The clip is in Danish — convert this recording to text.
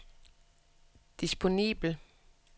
disponibel